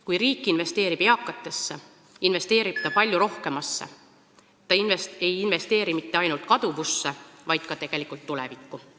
Kui riik investeerib eakatesse, investeerib ta palju rohkemasse – ta ei investeeri mitte ainult kaduvusse, vaid ka tegelikult tulevikku.